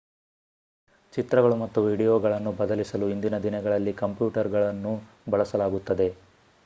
ಚಿತ್ರಗಳು ಮತ್ತು ವೀಡಿಯೋಗಳನ್ನು ಬದಲಿಸಲು ಇಂದಿನ ದಿನಗಳಲ್ಲಿ ಕಂಪ್ಯೂಟರುಗಳನ್ನು ಬಳಸಲಾಗುತ್ತದೆ